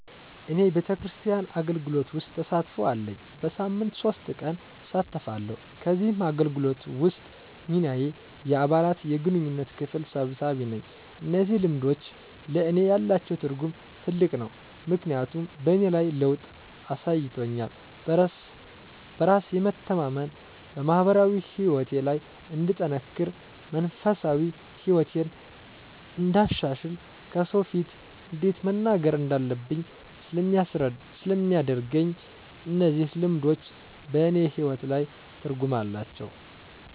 እኔ ቤተክርስቲያን አገልግሎት ውስጥ ተሳትፎ አለኝ። በሳምንት ሶስት ቀን እሳተፋለሁ ከዚህ አገልግሎት ውስጥ ሚናየ የአባላት የግንኙነት ክፍል ሰብሳቢ ነኝ። እነዚህ ልምዶች ለእኔ ያላቸው ትርጉም ትልቅ ነው ምክንያቱም በእኔ ላይ ለውጥ አሳይቶኛል በራስ የመተማመን፣ በማህበራዊ ህይወቴ ላይ እንድጠነክር፣ መንፈሳዊ ህይወቴን እንዳሻሽል፣ ከሰው ፊት እንዴት መናገር እንዳለብኝ ስለሚያደርገኝ እነዚህ ልምዶች በእኔ ህይወት ላይ ትርጉም አላቸው።